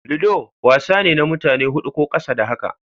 Ludo wasa ne na mutane hudu ko ƙasa da haka.